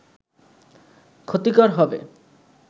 ক্ষতিকর হবে